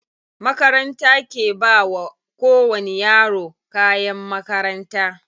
Makaranta ke bawa ko wani yaro kayan makaranta.